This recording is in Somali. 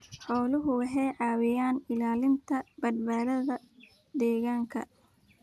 Xooluhu waxay caawiyaan ilaalinta badbaadada deegaanka.